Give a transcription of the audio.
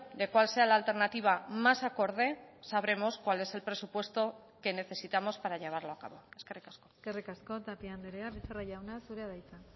de cuál sea la alternativa más acorde sabremos cuál es el presupuesto que necesitamos para llevarlo a cabo eskerrik asko eskerrik asko tapia andrea becerra jauna zurea da hitza